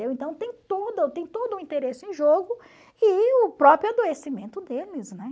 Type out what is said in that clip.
Então tem todo tem todo o interesse em jogo e o próprio adoecimento deles, né?